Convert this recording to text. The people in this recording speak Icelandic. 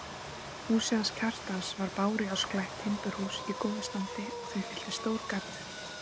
Húsið hans Kjartans var bárujárnsklætt timburhús í góðu standi og því fylgdi stór garður.